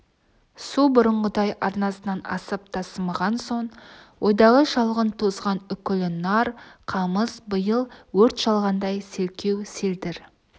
су бұрынғыдай арнасынан асып тасымаған соң ойдағы шалғын тозған үкілі нар қамыс биыл өрт шалғандай селкеу-селдір